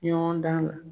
Ɲɔgɔn dan na